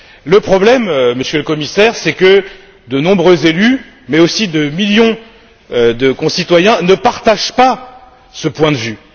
Le problème, Monsieur le Commissaire, c'est que de nombreux élus, mais aussi des millions de concitoyens ne partagent pas ce point de vue.